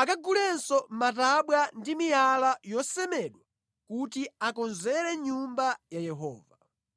akagulenso matabwa ndi miyala yosemedwa kuti akonzere Nyumba ya Yehova.